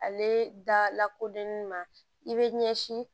Ale da lakodɔnni ma i bɛ ɲɛsin